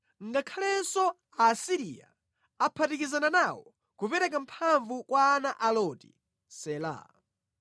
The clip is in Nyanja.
Ngakhalenso Aasiriya aphatikizana nawo kupereka mphamvu kwa ana a Loti. Sela